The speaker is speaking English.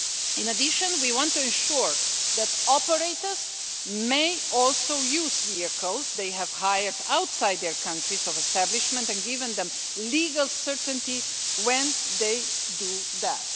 In addition, we want to ensure that operators may also use vehicles they have hired outside their countries of establishment and give them legal certainty when they do that.